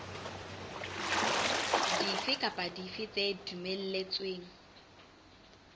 dife kapa dife tse dumelletsweng